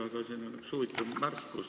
Aga siin on üks huvitav märkus.